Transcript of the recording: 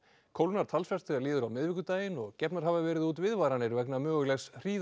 kólnar talsvert þegar líður á miðvikudaginn og gefnar hafa verið út viðvaranir vegna mögulegs